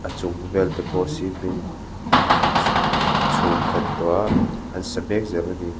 chung vel te pawh cement in an c-chhung khat tawh a an sa mek zel a ni.